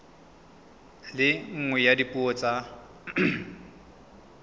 le nngwe ya dipuo tsa